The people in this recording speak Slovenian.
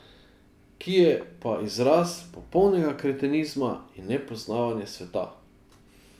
Ki je pa izraz popolnega kretenizma in nepoznavanja sveta.